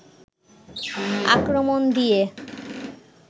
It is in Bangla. আক্রমণ দিয়ে